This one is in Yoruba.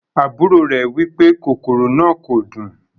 Àbúrò rẹ wipe kòkòrò náà kò dùn.